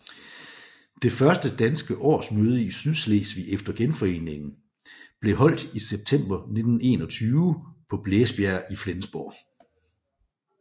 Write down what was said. Det første danske årsmøde i Sydslesvig efter genforeningen blev holdt i september 1921 på Blæsbjerg i Flensborg